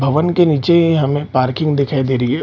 भवन के नीचे हमें पार्किंग दिखाई दे रही है।